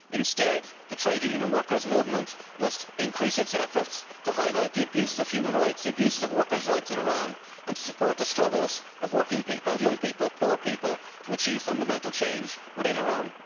Instead the trade union and workers' movement must increase its efforts to highlight the abuses of human rights, the abuses of workers' rights in Iran, and to support the struggles of working people, young people, poor people, to achieve fundamental change within Iran.